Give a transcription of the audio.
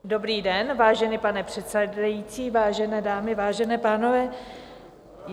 Dobrý den, vážený pane předsedající, vážené dámy, vážení pánové.